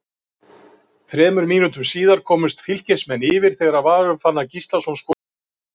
Tilgangur manna með því að nota krydd í mat er eða hefur verið aðallega tvíþættur.